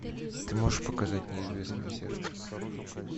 ты можешь показать неизвестное сердце